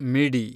ಮಿಡಿ